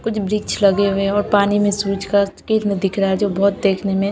कुछ वृक्ष लगे हुए है और पानी में जो बहोत देखने में--